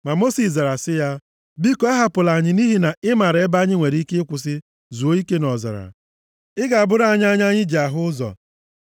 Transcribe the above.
Ma Mosis zara sị ya, “Biko ahapụla anyị nʼihi na ị maara ebe anyị nwere ike kwụsị zuo ike nʼọzara. Ị ga-abụrụ anyị anya anyị ji ahụ ụzọ.